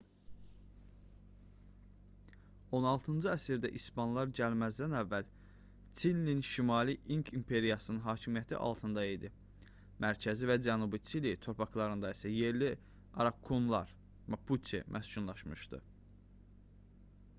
16-cı əsrdə i̇spanlar gəlməzdən əvvəl çilinin şimalı i̇nk imperiyasının hakimiyyəti altında idi mərkəzi və cənubi çili torpaqlarında isə yerli araukanlar mapuçe məskunlaşmışdı